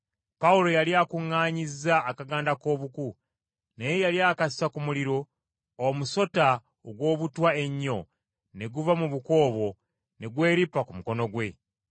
Pawulo yali akuŋŋaanyizza akaganda k’obuku, naye yali akassa ku muliro, omusota ogw’obutwa ennyo ne guva mu buku obwo ne gweripa ku mukono gwe.